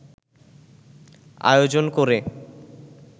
আয়োজন করে